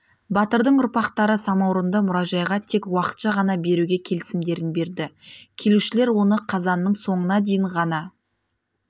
батырдың ұрпақтары самаурынды мұражайға тек уақытша ғана беруге келісімдерін берді келушілер оны қазанның соңына дейін ғана